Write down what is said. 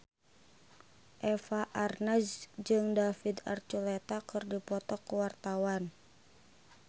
Eva Arnaz jeung David Archuletta keur dipoto ku wartawan